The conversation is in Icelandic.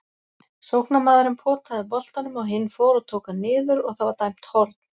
Sóknarmaðurinn potaði boltanum og hinn fór og tók hann niður og það var dæmt horn.